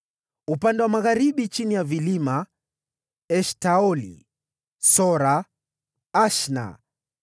Kwenye shefela ya magharibi: Eshtaoli, Sora, Ashna,